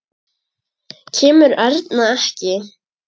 Kemur Erna ekki!